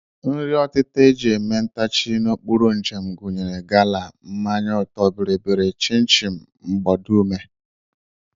Nri ọtịta e ji eme ntachi n'okporo njem gụnyere gala, mmanya ọtọ bịrịbịrị, chịn chin, mgbadume